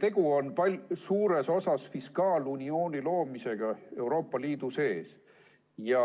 Tegu on suures osas fiskaaluniooni loomisega Euroopa Liidu sees ja